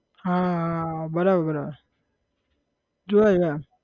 હા હા હા બરાબર બરાબર જોયા જોયા